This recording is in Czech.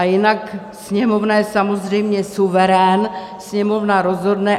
A jinak Sněmovna je samozřejmě suverén, Sněmovna rozhodne.